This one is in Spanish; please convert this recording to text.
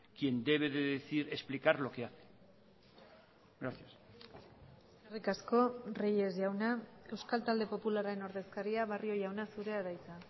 quien debe de decir explicar lo que hace gracias eskerrik asko reyes jauna euskal talde popularraren ordezkaria barrio jauna zurea da hitza